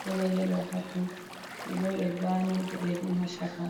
kolo yelo ha ton, ɓe lori ɓe zani boɗejum ha chaka.